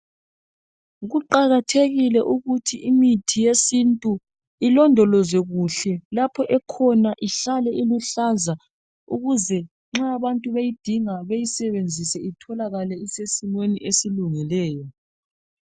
Kuqakathekile ukuthi imithi yesintu, ilondolozwe kuhle, lapho ekhona ihlale iluhlaza ukuze nxa abantu beyidinga beyisenzise itholakale isesimeni esilungileyo.